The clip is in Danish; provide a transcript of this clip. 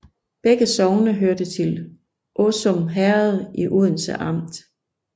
Begge sogne hørte til Åsum Herred i Odense Amt